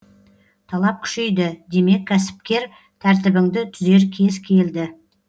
талап күшейді демек кәсіпкер тәртібіңді түзер кез келді